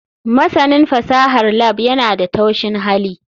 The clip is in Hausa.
Masanin fasahar lab yana da taushin hali.